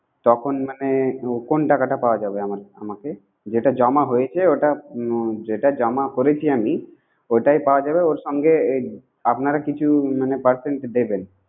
তখন হ্যাঁ কোন টাকাটা পাওয়া যাবে? আমাকে সেটা জমা হয়েছে ওটা, যেটা জমা করেছে আমি। ওটাই পাওয়া যাবে ওর সঙ্গে আপনার কিছু মানে percent দেবেন